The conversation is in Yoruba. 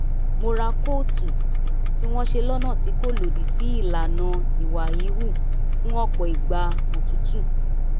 mo ra kóòtù tí wọ́n ṣe lọ́nà tí kò lòdì sí ìlànà ìwà híhù fún ọ̀pọ̀ ìgbà òtútù